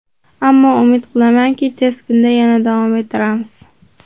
Ammo umid qilamanki, tez kunda yana davom ettiramiz.